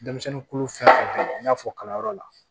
Denmisɛnnin kolo fɛn i n'a fɔ kalanyɔrɔ la